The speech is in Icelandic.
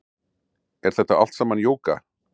Er þetta allt saman jóga